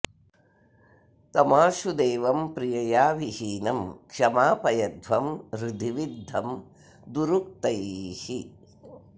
तमाशु देवं प्रियया विहीनं क्षमापयध्वं हृदि विद्धं दुरुक्तैः